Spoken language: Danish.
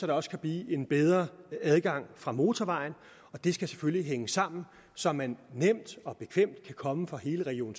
der også blive en bedre adgang fra motorvejen det skal selvfølgelig hænge sammen så man nemt og bekvemt kan komme fra hele region